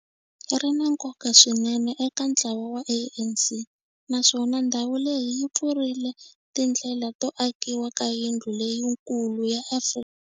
Ri na nkoka swinene eka ntlawa wa ANC, naswona ndhawu leyi yi pfurile tindlela to akiwa ka yindlu leyikulu ya Afrika.